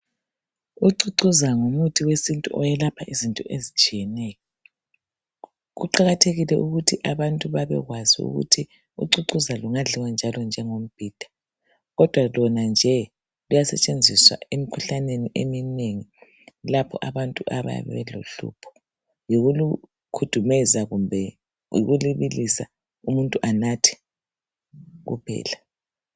Ucocoza ngumuthi wesintu owelapha izinto ezitshiyeneyo kuqakathekile ukuthi abantu babekwazi ukuthi ucocoza lungadliwa njalo njengombhida kodwa Lona nje luyasetshenziswa emikhuhlaneni eminengi lapho abantu abayabe belohlupho yikulu khudumeza kumbe ukulubilisa umuntu anathe kuphela